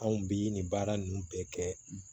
Anw bi nin baara nunnu bɛɛ kɛ